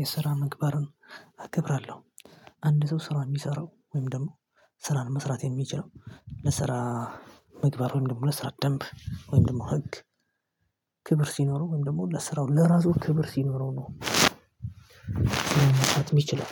የስራ ምግባርን አክብራለሁ። አንድ ሰው ስራ የሚሰራው ወይም ደግሞ ስራን መስራት የሚችለው ለስራ ምግባር ወይም ደግሞ ለስራ ደንብ ወይም ደግሞ ህግ ክብር ሲኖረው ወይም ደግሞ ለስራው ለራሱ ክብር ሲኖረው ነው። ስራ መስራት የሚችለው